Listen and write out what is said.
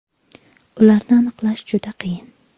Ularni aniqlash juda qiyin.